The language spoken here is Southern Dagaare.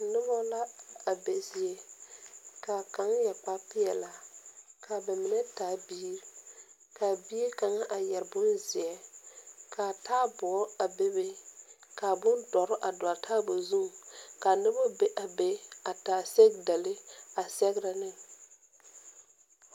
Nuba la a be zie ka kang yere kpare peelaa ka ba mene taa biiri kaa bie kanga a yere bunzie ka taaboo a bebe ka bundɔri a doɔle a taaboo zung ka nuba be a be a taa sɔgdale a segra ne.